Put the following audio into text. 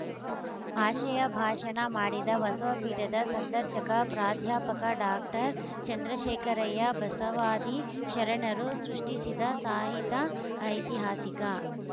ಆಶಯಭಾಷಣ ಮಾಡಿದ ಬಸವಪೀಠದ ಸಂದರ್ಶಕ ಪ್ರಾಧ್ಯಾಪಕ ಡಾಕ್ಟರ್ ಚಂದ್ರಶೇಖರಯ್ಯ ಬಸವಾದಿ ಶರಣರು ಸೃಷ್ಟಿಸಿದ ಸಾಹಿತ್ಯ ಐತಿಹಾಸಿಕ